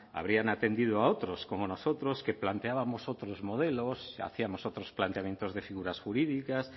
habrían atendido a otros como nosotros que planteábamos otros modelos hacíamos otros planteamientos de figuras jurídicas